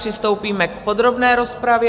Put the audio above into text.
Přistoupíme k podrobné rozpravě.